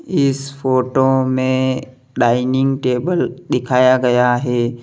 इस फोटो में dining table दिखाया गया है।